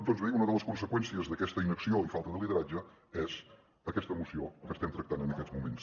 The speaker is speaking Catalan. doncs bé una de les conseqüències d’aquesta inacció i falta de lideratge és aquesta moció que estem tractant en aquests moments